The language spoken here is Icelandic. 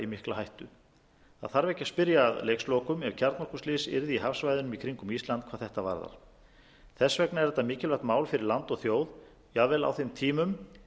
í mikla hættu það þarf ekki að spyrja að leikslokum ef kjarnorkuslys yrði í hafsvæðunum í kringum ísland hvað þetta varðar þess vegna er þetta mikilvægt mál fyrir land og þjóð jafnvel á þeim tímum